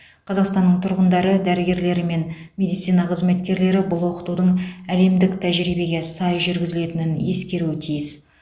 қазақстанның тұрғындары дәрігерлері мен медицина қызметкерлері бұл оқытудың әлемдік тәжірибеге сай жүргізілетінін ескеруі тиіс